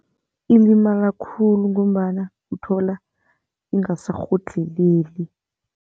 Ilimala khulu ngombana uthola ingasarhodlheleli.